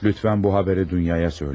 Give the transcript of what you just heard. Lütfən, bu xəbəri Dunyaya deyin.